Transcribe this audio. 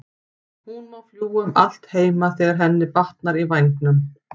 Hún má fljúga um allt heima þegar henni batnar í vængnum.